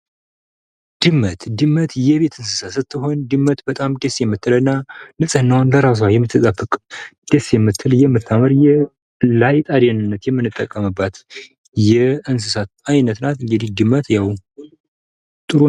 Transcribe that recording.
ድመት፦ ድመት የቤት እንሰሳት ስትሆን በጣም ደስ የምትል እና ንጽህናዋን የትጠብቅ በራሷ በምትጠብቅ ደስ የምትል እና ለአይጥ አደንነት የምንጠቀምባት የእንሰሳት አይነት ናት።